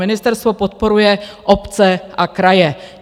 Ministerstvo podporuje obce a kraje.